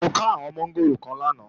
Mo ká àwọn mọ́ngòrò kan lánàá